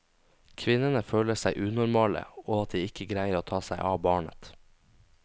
Kvinnene føler seg unormale og at de ikke greier å ta seg av barnet.